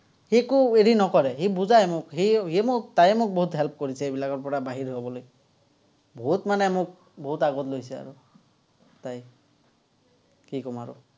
সি একো হেৰি নকৰে, সি বুজায় মোক। সি সি মোক, তায়ে মোক বহুত help কৰিছে, এইবিলাকৰপৰা বাহিৰত হ'বলৈ। বহুত মানে মোক বহুত আগত লৈছে আৰু। তাই, কি কম আৰু।